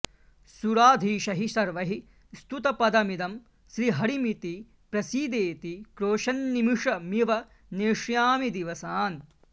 सुराधीशैः सर्वैः स्तुतपदमिदं श्रीहरिमिति प्रसीदेति क्रोशन्निमिषमिव नेष्यामि दिवसान्